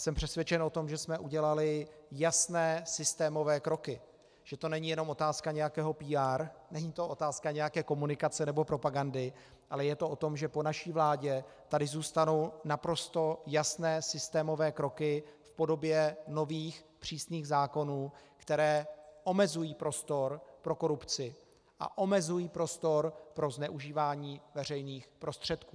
Jsem přesvědčen o tom, že jsme udělali jasné systémové kroky, že to není jenom otázka nějakého PR, není to otázka nějaké komunikace nebo propagandy, ale je to o tom, že po naší vládě tady zůstanou naprosto jasné systémové kroky v podobě nových přísných zákonů, které omezují prostor pro korupci a omezují prostor pro zneužívání veřejných prostředků.